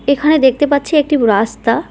এখানে দেখতে পাচ্ছি একটি রাস্তা।